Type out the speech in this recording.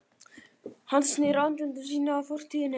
Hann snýr andliti sínu að fortíðinni.